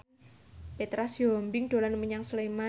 Petra Sihombing dolan menyang Sleman